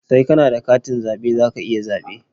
Sai ka na da katin zaɓe za ka iya zaɓe.